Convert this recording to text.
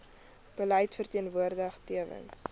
beleid verteenwoordig tewens